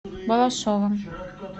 балашовым